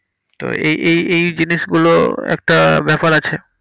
তো এই এই এই জিনিসগুলো একটা ব্যাপার আছে।